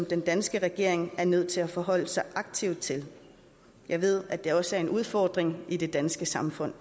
den danske regering er nødt til at forholde sig aktivt til jeg ved det fortsat også er en udfordring i det danske samfund